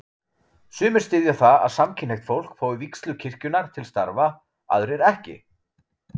Sumir styðja það að samkynhneigt fólk fái vígslu kirkjunnar til starfa, aðrir ekki.